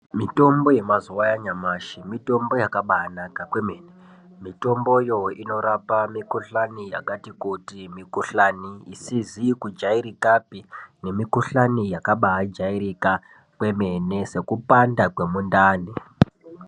Mitombo yemazuwanyamashe, mitombo yakabanaka kwemene. Mitomboyo inorapa mikuhlani yakati kuti. Mikuhlanu isizikujayirikape nemikuhlane yakabajayirika kwemene sekupanda kwemundani.